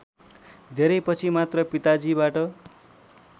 धेरैपछि मात्र पिताजीबाट